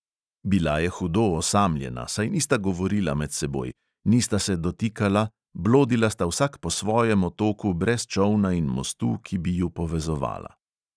Bila je hudo osamljena, saj nista govorila med seboj, nista se dotikala, blodila sta vsak po svojem otoku brez čolna in mostu, ki bi ju povezovala.